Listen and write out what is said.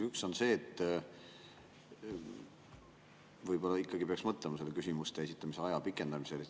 Üks on see, et võib-olla peaks mõtlema selle küsimuste esitamise aja pikendamisele.